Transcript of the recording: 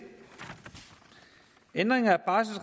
ændringerne